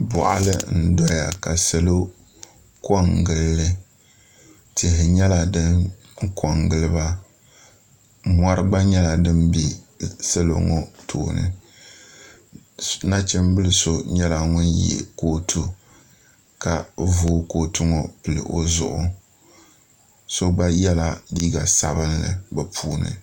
boɣali ndoya ka salo ko n gilli tihi nyɛla din kɔ n giliba mori gba nyɛla din bɛ salɔ ŋɔ tooni nachimbili so nyɛla ŋun yɛ kootu ka o vooi kootu ŋɔ pili o zuɣu so gba yɛla liiga sabinli bi puuni